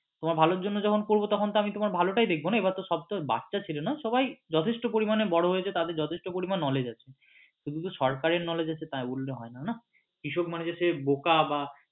তোমার ভালোর জন্য যখন করবো তো আমি তোমার ভালোটাই দেখবো না এবার সব তো বাচ্ছা ছেলে না সবাই যথেষ্ট পরিমাণে বড় হয়েছে তাদের যথেষ্ট পরিমাণে knowledge আছে শুধু যে সরকারের knowledge আছে তাই বললে হয়না না কৃষক মানে যে সে বোকা বা